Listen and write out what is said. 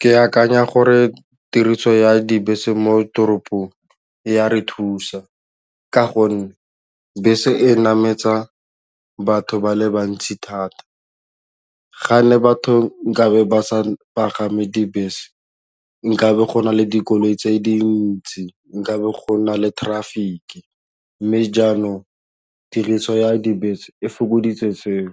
Ke akanya gore tiriso ya dibese mo toropong ya re thusa ka gonne bese e nametsa batho ba le bantsi thata, ga ne batho nkabe ba sa pagame dibese nkabe gona le dikoloi tse dintsi nkabe gona le traffic mme jaanong tiriso ya dibese e fokoditse tseo